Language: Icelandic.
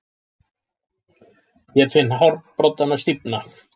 Ég finn hárbroddana stífna.